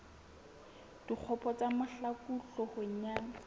dikgopo tsa mahlaku hloohong ya